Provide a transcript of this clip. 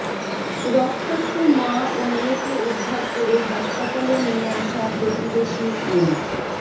রক্তাক্ত মা ও মেয়েকে উদ্ধার করে হাসপাতালে নিয়ে আসা প্রতিবেশী মো